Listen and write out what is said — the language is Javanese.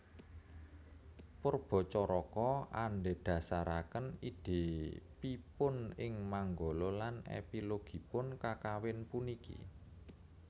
Poerbatjaraka andhedhasaraken idhepipun ing manggala lan épilogipun kakawin puniki